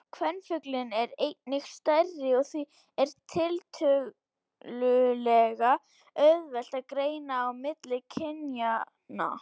Kvenfuglinn er einnig stærri og því er tiltölulega auðvelt að greina á milli kynjanna.